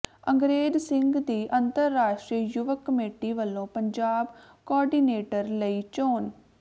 ਅੰਗਰੇਜ ਸਿੰਘ ਦੀ ਅੰਤਰਰਾਸ਼ਟਰੀ ਯੁਵਕ ਕਮੇਟੀ ਵੱਲੋਂ ਪੰਜਾਬ ਕੋਆਰਡੀਨੇਟਰ ਲਈ ਚੋਣ